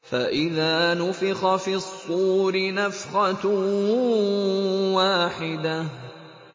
فَإِذَا نُفِخَ فِي الصُّورِ نَفْخَةٌ وَاحِدَةٌ